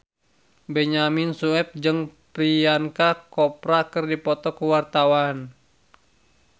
Benyamin Sueb jeung Priyanka Chopra keur dipoto ku wartawan